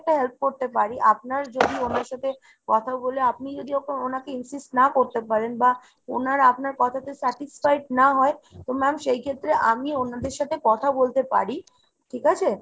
help করতে পারি আপনার যদি ওনার সাথে কথা বলে আপনি যদি এখন ওনাকে insist না করতে পারেন, বা ওনারা আপনার কথাতে satisfied না হয় তো ma'am সেই ক্ষেত্রে আমি ওনাদের সাথে কথা বলতে পারি ঠিক আছে ?